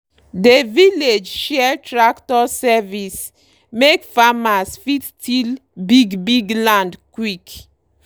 dey village share tractor service make farmers fit till big-big land quick